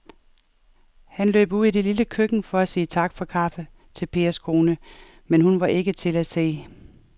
Han løb ud i det lille køkken for at sige tak for kaffe til Pers kone, men hun var ikke til at se.